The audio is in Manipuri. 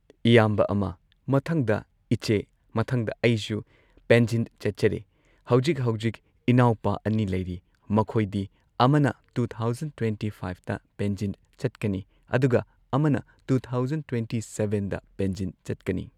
ꯏꯌꯥꯝꯕ ꯑꯃ ꯃꯊꯪꯗ ꯏꯆꯦ ꯃꯊꯪꯗ ꯑꯩꯁꯨ ꯄꯦꯟꯖꯤꯟ ꯆꯠꯆꯔꯦ ꯍꯧꯖꯤꯛ ꯍꯧꯖꯤꯛ ꯢꯅꯥꯎꯄꯥ ꯑꯅꯤ ꯂꯩꯔꯤ ꯃꯈꯣꯏꯗꯤ ꯑꯃꯅ ꯇꯨ ꯊꯥꯎꯖꯟ ꯇ꯭ꯋꯦꯟꯇꯤ ꯐꯥꯢꯚꯇ ꯄꯦꯟꯖꯟ ꯆꯠꯀꯅꯤ ꯑꯗꯨꯒ ꯑꯃꯅ ꯇꯨ ꯊꯥꯎꯖꯟ ꯇ꯭ꯋꯦꯟꯇꯤ ꯁꯕꯦꯟꯗ ꯄꯦꯟꯖꯤꯟ ꯆꯠꯀꯅꯤ꯫